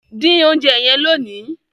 din oúnjẹ yen lóni!